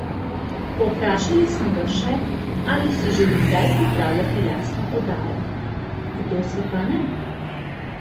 Povprašali smo ga še, ali si želi kdaj pripravljati lastno oddajo: 'Kdo si pa ne?